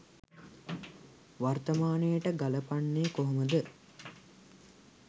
වර්තමානයට ගලපන්නේ කොහොමද?